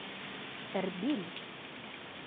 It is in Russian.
эрбиль